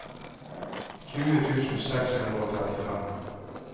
tjue tusen seks hundre og trettifem